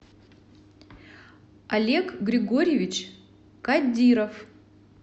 олег григорьевич кадиров